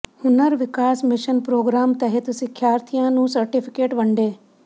ਹੁਨਰ ਵਿਕਾਸ mission programme ਤਹਿਤ ਸਿੱਖਿਆਰਥੀਆਂ ਨੂੰ ਸਰਟੀਫਿਕੇਟ ਵੰਡੇ